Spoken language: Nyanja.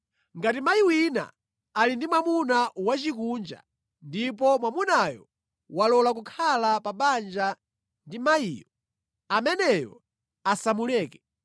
Ngati mayi wina ali ndi mwamuna wosakhulupirira ndipo mwamunayo walola kukhala pa banja ndi mayiyo, ameneyo asamuleke.